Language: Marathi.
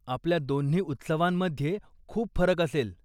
आपल्या दोन्ही उत्सवांमध्ये खूप फरक असेल.